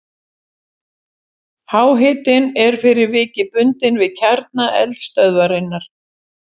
Háhitinn er fyrir vikið bundinn við kjarna eldstöðvarinnar.